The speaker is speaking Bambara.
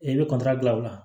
E bɛ dilan o la